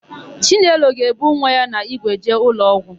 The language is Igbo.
Chinelo ga-ebu nwa ya n'ígwe jee ụlọọgwụ.